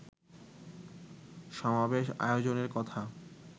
সমাবেশ আয়োজনের কথা